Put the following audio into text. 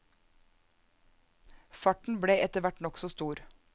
Farten ble etter hvert nokså stor.